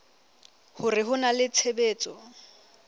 hore ho na le tshebetso